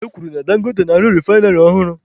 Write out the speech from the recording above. E kwuru na Dangote na-arụ refainarị ọhụrụ.